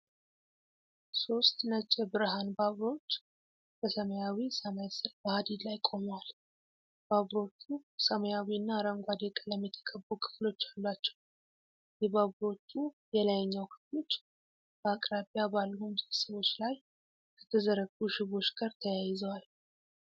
ሶስት ነጭ የብርሃን ባቡሮች በሰማያዊ ሰማይ ስር በሐዲድ ላይ ቆመዋል። ባቡሮቹ ሰማያዊና አረንጓዴ ቀለም የተቀቡ ክፍሎች አሏቸው። የባቡሮቹ የላይኛው ክፍሎች በአቅራቢያ ባሉ ምሰሶዎች ላይ ከተዘረጉ ሽቦዎች ጋር ተያይዘዋል።